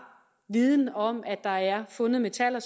viden om at der er fundet metaller